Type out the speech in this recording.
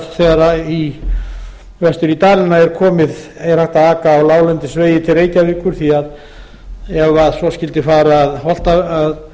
að þegar vestur í dala er komið er hægt að aka á láglendisvegi til reykjavíkur því að ef svo skyldi fara að